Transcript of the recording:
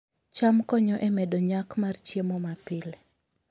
cham konyo e medo nyak mar chiemo mapile